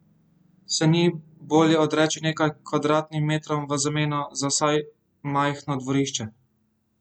Se ni bolje odreči nekaj kvadratnim metrom v zameno za vsaj majhno dvorišče?